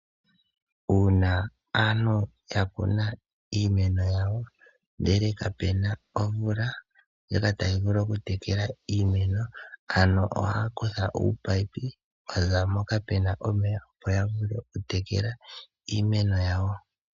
Uuna aantu ya kuna iimeno yawo, inhe kapu na omvula ndjoka tayi vulu okutekela iimeno, aantu ohaya kutha uupaipi wa za mpoka pu na omeya, opo ya vule okutekela iimeno yawo.